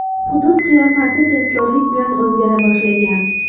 Hudud qiyofasi tezkorlik bilan o‘zgara boshlagan.